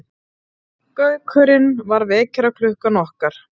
Gaukurinn var vekjaraklukkan okkar.